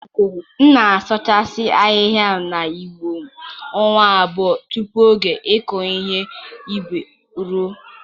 M na-asụchasị ahịhịa na ugbo m ọnwa abụọ tupu oge ịkụ ihe ubi e ruọ.